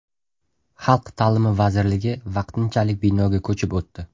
Xalq ta’limi vazirligi vaqtinchalik binoga ko‘chib o‘tdi.